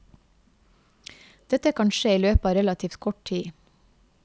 Dette kan skje i løpet av relativt kort tid.